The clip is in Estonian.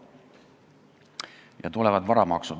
Ja nüüd varamaksud.